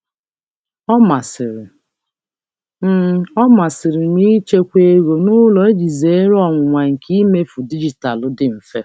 M na-ahọrọ ịchekwa ego n'ụlọ iji zere ọnwụnwa nke zere ọnwụnwa nke mmefu dijitalụ dị mfe.